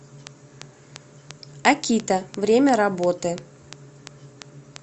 акита время работы